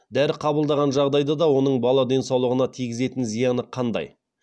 дәрі қабылдаған жағдайда оның бала денсаулығына тигізетін зияны қандай